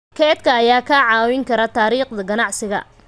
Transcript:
Kaydka ayaa kaa caawin kara taariikhda ganacsiga.